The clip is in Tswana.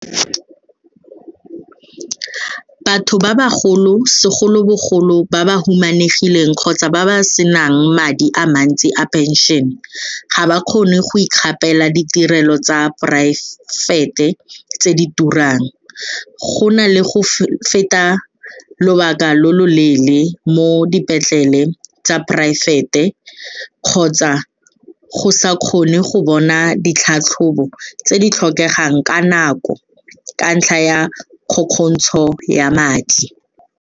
Batho ba bagolo, segolobogolo ba ba humanegileng kgotsa ba ba senang madi a mantsi a penšene ga ba kgone go ikgapela ditirelo tsa poraefete tse di turang gona le go feta lobaka lo lo leele mo dipetlele tsa poraefete kgotsa go sa kgone go bona ditlhatlhobo tse di tlhokegang ka nako ka ntlha ya kgokgotsho ya madi.